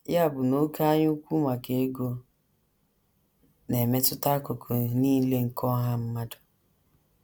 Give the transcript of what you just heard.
Ya bụ na oké anyaukwu maka ego na - emetụta akụkụ nile nke ọha mmadụ.